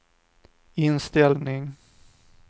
inställning